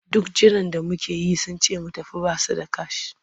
Duk jiran da muka yi sun ce mu tafi ba su da kash.